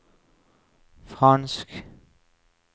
fransk